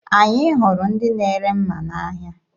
Anyị hụrụ ndị na-ere mma n'ahịa.